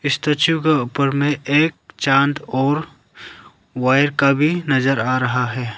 Statue के ऊपर में एक चांद और वायर का भी नजर आ रहा है।